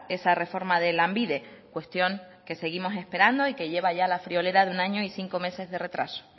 esa reforma de lanbide cuestión que seguimos esperando y que lleva ya la friolera de un año y cinco meses de retraso